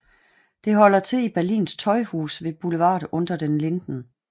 Det holder til i Berlins tøjhus ved boulevarden Unter den Linden